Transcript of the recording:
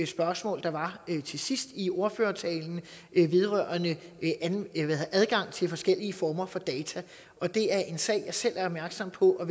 spørgsmål der var til sidst i ordførertalen vedrørende adgang til forskellige former for data det er en sag jeg selv er opmærksom på og